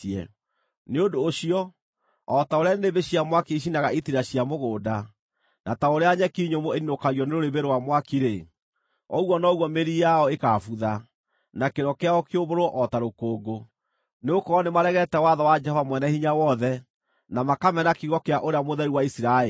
Nĩ ũndũ ũcio, o ta ũrĩa nĩnĩmbĩ cia mwaki icinaga itira cia mũgũnda, na ta ũrĩa nyeki nyũmũ ĩniinũkagio nĩ rũrĩrĩmbĩ rwa mwaki-rĩ, ũguo noguo mĩri yao ĩkaabutha, na kĩro kĩao kĩũmbũrwo o ta rũkũngũ; nĩgũkorwo nĩmaregete watho wa Jehova Mwene-Hinya-Wothe, na makamena kiugo kĩa Ũrĩa Mũtheru wa Isiraeli.